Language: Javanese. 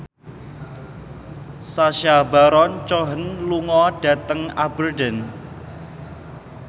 Sacha Baron Cohen lunga dhateng Aberdeen